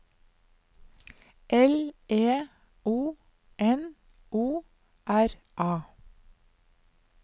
L E O N O R A